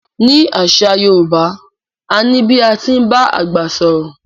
Ni àṣà Yorùbá,a ní bí a ti ń bá àgbà sọ̀rọ̀.